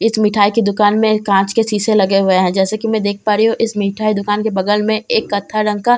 इस मिठाई की दुकान में एक कांच के शीशे लगे हुए हैं जैसा कि मैं देख पा रही हूं इस मिठाई दुकान के बगल में एक कत्था रंग का --